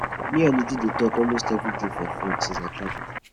me and uju dey talk almost everyday for phone since i travel